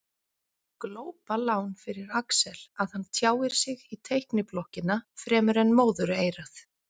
Glópalán fyrir Axel að hann tjáir sig í teikniblokkina fremur en móðureyrað.